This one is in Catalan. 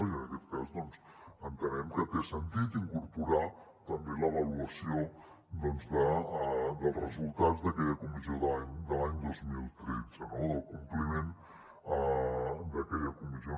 i en aquest cas doncs entenem que té sentit incorporar també l’avaluació dels resultats d’aquella comissió de l’any dos mil tretze del compliment d’aquella comissió